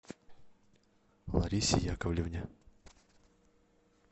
ларисе яковлевне